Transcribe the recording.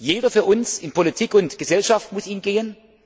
Jeder von uns in Politik und Gesellschaft muss ihn